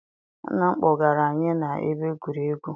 Nna m kpọgara anyị na ebe egwuregwu.